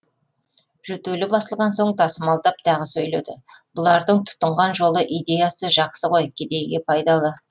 жөтелі басылған соң тасымалдап тағы сөйледі бұлардың тұтынған жолы идеясы жақсы ғой кедейге пайдалы